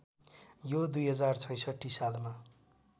यो २०६६ सालमा